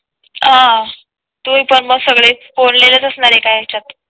अह तुम्हीपण मग सगळेच कोंडलेले च असणारच एका यांच्यात